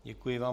Děkuji vám.